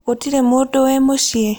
Gũtirĩ mũndũ wĩĩ mũciĩ.?